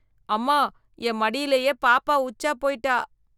அம்மா, என் மடியிலயே பாப்பா உச்சா போய்ட்டா...